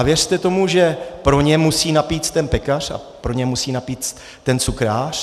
A věřte tomu, že pro ně musí napéct ten pekař a pro ně musí napéct ten cukrář.